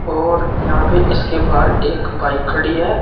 और यहां पर इसके बाहर एक बाइक खड़ी है।